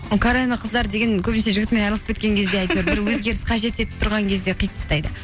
ол карені қыздар деген көбінесе жігітімен айырылысып кеткен кезде бір өзгеріс қажет етіп тұрған кезде қиып тастайды